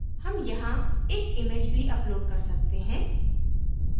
हम यहाँ एक image भी upload कर सकते हैं